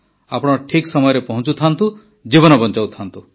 ଆପଣ ଠିକ୍ ସମୟରେ ପହଂଚୁଥାନ୍ତୁ ଜୀବନ ବଞ୍ଚାଉଥାନ୍ତୁ